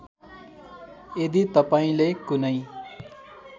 यदि तपाईँले कुनै